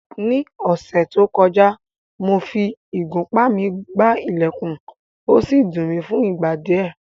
Ní ọ̀sẹ̀ tó kọjá, mo fi ìgúnpá mi gbá ilẹ̀kùn, ó sì dùn mi fún ìgbà díẹ̀